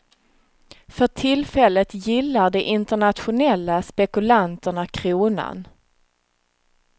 För tillfället gillar de internationella spekulanterna kronan.